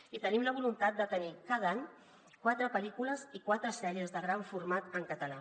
i tenim la voluntat de tenir cada any quatre pellícules i quatre sèries de gran format en català